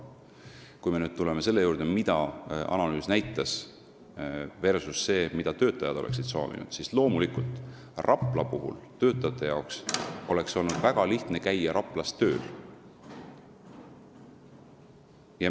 Kui me nüüd tuleme selle juurde, mida analüüs näitas, versus see, mida töötajad oleksid soovinud, siis loomulikult oleks töötajatel olnud väga lihtne käia Raplasse tööle.